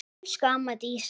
Elsku amma Dísa.